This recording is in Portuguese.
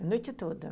A noite toda.